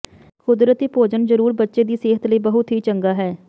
ਕੁਦਰਤੀ ਭੋਜਨ ਜ਼ਰੂਰ ਬੱਚੇ ਦੀ ਸਿਹਤ ਲਈ ਬਹੁਤ ਹੀ ਚੰਗਾ ਹੈ